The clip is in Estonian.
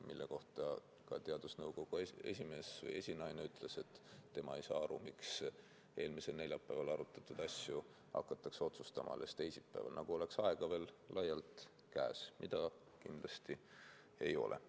Mille kohta ka teadusnõukoja esinaine ütles, et tema ei saa aru, miks eelmisel neljapäeval arutatud asju hakatakse otsustama alles teisipäeval, nagu oleks aega veel laialt käes, kuigi nii see kindlasti ei ole.